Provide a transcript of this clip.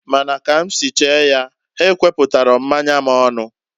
Ma na ka m si chee ya, ha ekweputaro mmanya m onu.